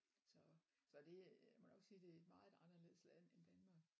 Så så det øh må nok sige det er et meget anderledes land end Danmark